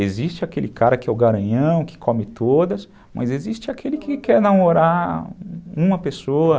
Existe aquele cara que é o garanhão, que come todas, mas existe aquele que quer namorar uma pessoa.